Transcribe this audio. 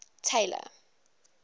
tailor